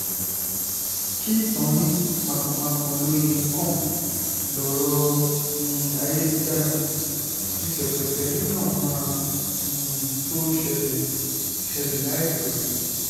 kíìtàn ní mãkà-mákà lóye ń kàn lọ̀rọ̀ um ayélujára tí ṣèpẹtẹrí náà máa um tó ṣẹlẹ̀ ṣẹlẹ̀ láìpẹ́